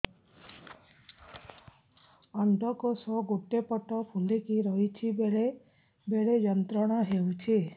ଅଣ୍ଡକୋଷ ଗୋଟେ ପଟ ଫୁଲିକି ରହଛି ବେଳେ ବେଳେ ଯନ୍ତ୍ରଣା ହେଉଛି